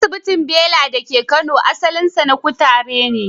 Asibintin Bela da ke Kano, asalinsa na kutare ne.